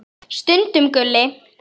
Stundum Gulli.